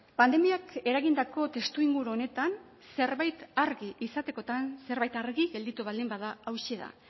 pandemiak eragindako testuinguru honetan zerbait argi izatekotan zerbait argi gelditu baldin bada hauxe da